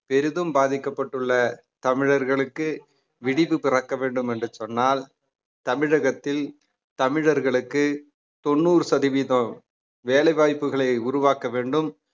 பெரிதும் பாதிக்கப்பட்டுள்ள தமிழர்களுக்கு விடிவு பிறக்க வேண்டும் என்று சொன்னால் தமிழகத்தில் தமிழர்களுக்கு தொண்ணூறு சதவீதம் வேலை வாய்ப்புகளை உருவாக்க வேண்டும்